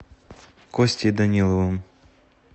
костей даниловым